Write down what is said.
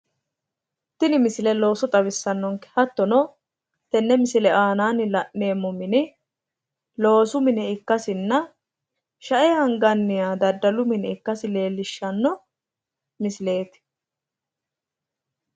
tini misile looso xawisannonke hattono tenne misile aanaanni la'neemmmoti loosu mine ikkassinna shae anganniha dadalu mine ikkasi leellishshanno misileeti.